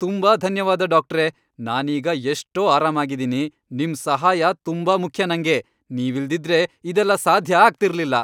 ತುಂಬಾ ಧನ್ಯವಾದ, ಡಾಕ್ಟ್ರೇ! ನಾನೀಗ ಎಷ್ಟೋ ಆರಾಮಾಗಿದೀನಿ. ನಿಮ್ ಸಹಾಯ ತುಂಬಾ ಮುಖ್ಯ ನಂಗೆ. ನೀವಿಲ್ದಿದ್ರೆ ಇದೆಲ್ಲ ಸಾಧ್ಯ ಆಗ್ತಿರ್ಲಿಲ್ಲ.